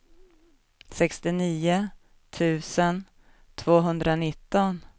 sextionio tusen tvåhundranitton